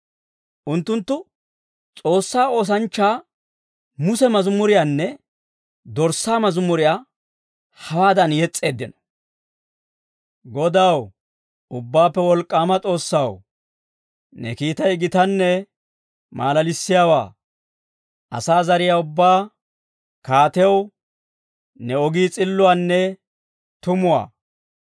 Unttunttu, S'oossaa oosanchchaa Muse mazimuriyaanne Dorssaa mazimuriyaa hawaadan yes's'eeddino. «Godaw, Ubbaappe Wolk'k'aama S'oossaw, ne kiitay gitanne maalalissiyaawaa. Asaa zariyaa ubbaa Kaatew, ne ogii s'illuwaanne tumuwaa.